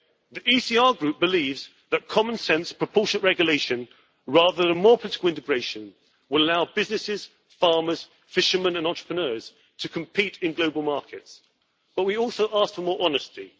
The ECR Group believes that common sense and proportionate regulation, rather than more political integration, will allow businesses, farmers, fishermen and entrepreneurs to compete in global markets, but we also ask for more honesty.